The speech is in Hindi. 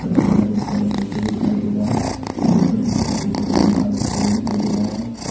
की तरफ एक बल्ब जलते हुए दिखाई दे रहा है ओ ऊपर की तरफ एक और पंखा लटके हुए दिखाई दे रहा है।